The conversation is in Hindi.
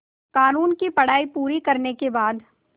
क़ानून की पढा़ई पूरी करने के बाद